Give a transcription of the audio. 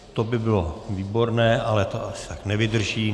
To by bylo výborné, ale to asi tak nevydrží.